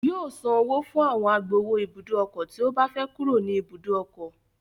Yóò san owó fún àwọn agbowó ibùdó ọkọ̀ tí ó bá fẹ́ kúrò ní ibùdó ọkọ̀